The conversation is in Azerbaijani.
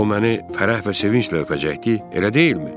O məni fərəh və sevinclə öpəcəkdi, elə deyilmi?